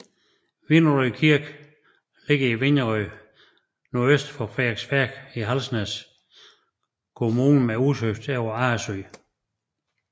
Vinderød Kirke ligger i Vinderød nordøst for Frederiksværk i Halsnæs Kommune med udsigt over Arresø